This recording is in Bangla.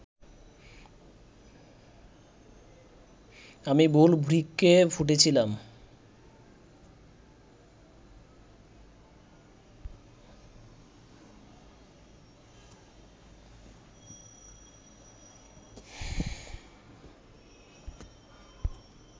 আমি ভুল বৃক্ষে ফুটেছিলাম